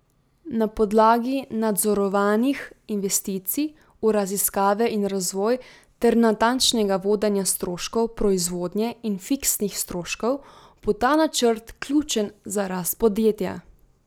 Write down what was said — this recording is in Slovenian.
Na podlagi nadzorovanih investicij v raziskave in razvoj ter natančnega vodenja stroškov proizvodnje in fiksnih stroškov, bo ta načrt ključen za rast podjetja.